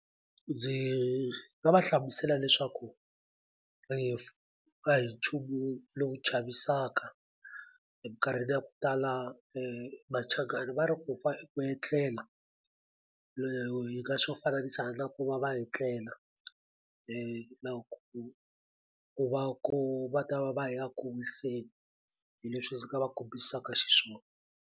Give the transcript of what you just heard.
Ndzi nga va hlamusela leswaku rifu a hi nchumu lowu chavisaka eminkarhini ya ku tala Machangani va ri ku fa i ku etlela hi nga swi fananisa na ku va va etlela na ku ku va ku va ta va va ya ku wiseni hi leswi ndzi nga va kombisaka xiswona.